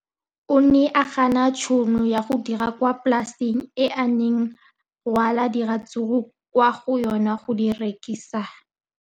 O ne a gana tšhono ya go dira kwa polaseng eo a neng rwala diratsuru kwa go yona go di rekisa.